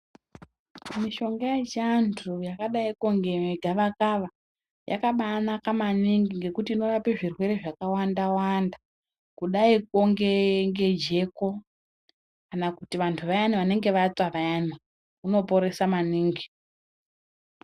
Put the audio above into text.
Mishonga yechiantu yakadaiko ngegavaka yakabanaka maningi ngekuti inorapa zvirwere zvakawanda-wanda kudaikwo ngejeko kana vantu vayana vanenge vatsva vayana . Unoporesa maningi.